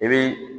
I bi